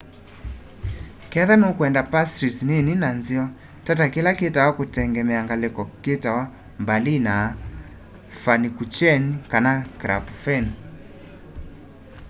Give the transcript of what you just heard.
kethwa nukwenda pastries nini na nzeo tata kila kitawa kutengemea ngaliko kitawa berliner pfannkuchen kana krapfen